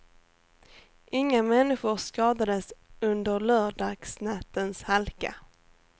Inga människor skadades under lördagsnattens halka.